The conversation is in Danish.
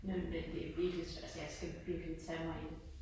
Ja men det virkelig svært jeg skal virkelig tage mig i det